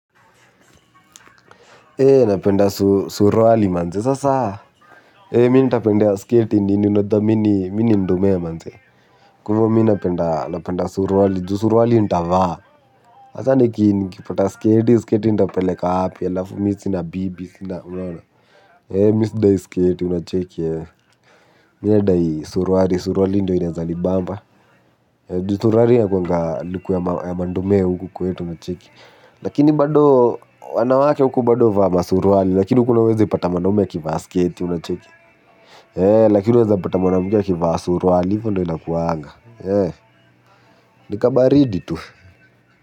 Ee napenda suruali manze sasa eei mimi nitapendea skati nini unadhani mimi ni ndomea manze. Kwa hivyo mimi nitapenda suruali juu suruali nitavaa sasa nikipata skati skati nitapeleka wapi alafu mimi na bibi ee mimi sidai skati unacheki ee. Mimi nadai suruali suruali ndiyo inaweza bamba. Juu suruali inakuwanga luku ya mandomea huku kwetu mnacheki. Lakini bado wanawake huku bado huvaa masuruali. Lakini huku huwezipata mwanaume ya kivaa sketi unacheki ee. Lakini unawezapata mwanamke ya kivaa suruali hivyo ndivyo inakuwanga ee nikabaridi tu.